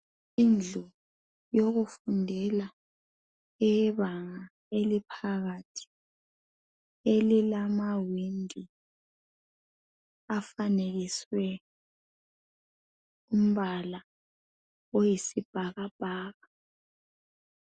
Indlu yokufundela eyebanga eliphakathi, elilamawindi afanekiswe umbala oyisibhakabhaka.